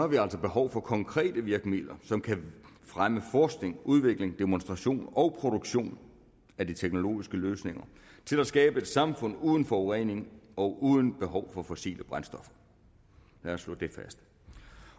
vi altså behov for konkrete virkemidler som kan fremme forskning udvikling demonstration og produktion af de teknologiske løsninger til at skabe et samfund uden forurening og uden behov for fossile brændstoffer lad os slå det fast